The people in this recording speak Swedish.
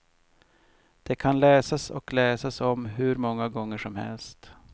Det kan läsas och läsas om hur många gånger som helst.